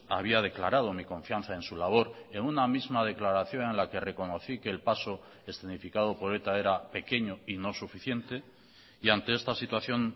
había declarado mi confianza en su labor en una misma declaración en la que reconocí que el paso escenificado por eta era pequeño y no suficiente y ante esta situación